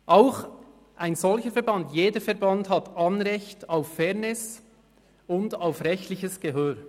Auch ein solcher Verband beziehungsweise ein jeder Verband hat Anrecht auf Fairness und auf rechtliches Gehör.